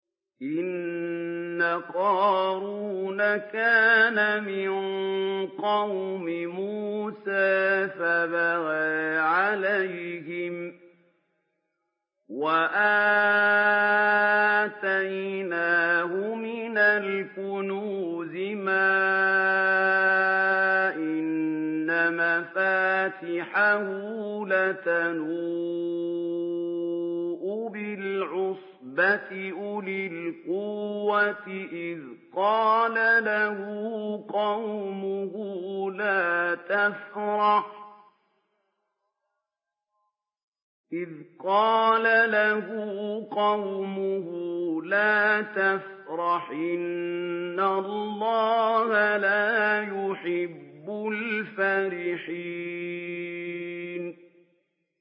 ۞ إِنَّ قَارُونَ كَانَ مِن قَوْمِ مُوسَىٰ فَبَغَىٰ عَلَيْهِمْ ۖ وَآتَيْنَاهُ مِنَ الْكُنُوزِ مَا إِنَّ مَفَاتِحَهُ لَتَنُوءُ بِالْعُصْبَةِ أُولِي الْقُوَّةِ إِذْ قَالَ لَهُ قَوْمُهُ لَا تَفْرَحْ ۖ إِنَّ اللَّهَ لَا يُحِبُّ الْفَرِحِينَ